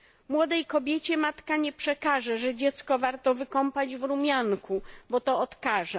Młodej kobiecie matka nie przekaże, że dziecko warto wykąpać w rumianku, bo to odkaża.